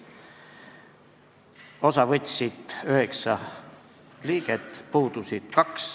Istungist võttis osa 9 komisjoni liiget, puudus 2.